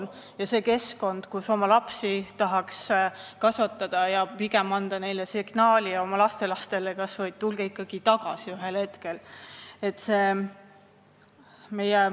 See ei ole keskkond, kus nad tahaks oma lapsi kasvatada ja anda neile või ka oma lastelastele signaali, et tulge ikka ühel hetkel tagasi.